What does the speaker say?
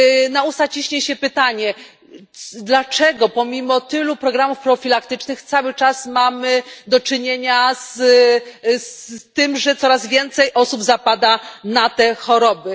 Na usta ciśnie się pytanie dlaczego pomimo tylu programów profilaktycznych cały czas mamy do czynienia z tym, że coraz więcej osób zapada na ty choroby.